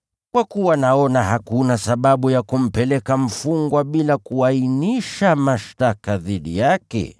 Kwa kuwa naona hakuna sababu ya kumpeleka mfungwa bila kuainisha mashtaka dhidi yake.”